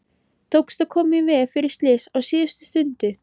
Tókst að koma í veg fyrir slys á síðustu stundu.